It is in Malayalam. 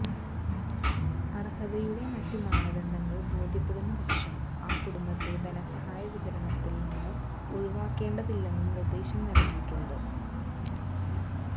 അര്ഹതയുടെ മറ്റു മാനദണ്ഡങ്ങള് ബോധ്യപ്പെടുന്ന പക്ഷം ആ കുടുംബത്തെ ധനസഹായ വിതരണത്തില് നിന്ന് ഒഴിവാക്കേണ്ടതില്ലെന്ന് നിര്ദ്ദേശം നല്കിയിട്ടുണ്ട്